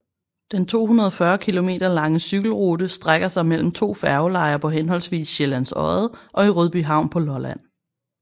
Den 240 km lange cykelrute strækker sig mellem to færgelejer på henholdsvis Sjællands Odde og i Rødbyhavn på Lolland